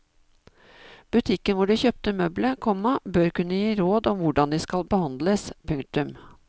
Butikken hvor du kjøpte møbelet, komma bør kunne gi råd om hvordan de skal behandles. punktum